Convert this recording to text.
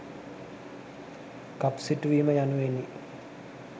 කප් සිටුවීම යනුවෙනි.